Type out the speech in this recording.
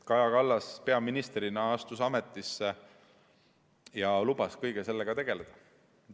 Kaja Kallas peaministrina astus ametisse ja lubas kõige sellega tegeleda.